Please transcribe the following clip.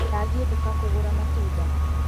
Ndathiĩ duka kũgũra matunda